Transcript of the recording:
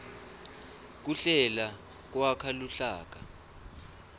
kuhlela kwakha luhlaka